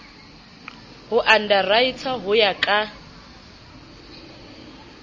ho underwriter ho ya ka